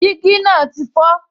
Dígí náà ti fọ